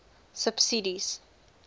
subsidies